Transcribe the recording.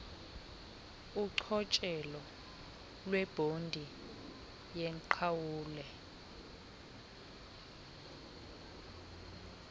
kuchotshelo lwebhodi yenqawule